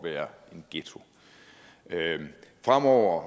at være en ghetto fremover